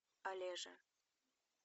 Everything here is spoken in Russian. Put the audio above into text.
олежа